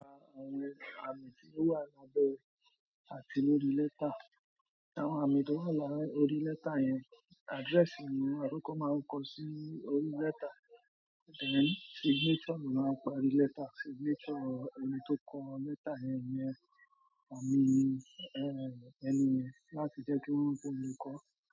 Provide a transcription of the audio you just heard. Àwọn àmì tí ó wà lábẹ́ àtíló orí letter, àwọn àmì tó wà láyé orí letter yẹn, address ni àwọn oko máa ń kọ sí orí letter, then signature ni wọ́n máa ń pa orí letter, signature ẹni tó kọ letter yẹn ni fún mi, eh, ẹni yẹn láti jẹ́ kí wọ́n mọ̀ pé mo kọ.